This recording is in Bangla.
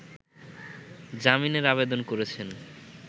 জামিনের আবেদন করেছেন